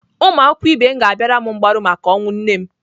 Ụmụakwụkwọ ibe m ga-abịara m mgbaru maka ọnwụ nne m.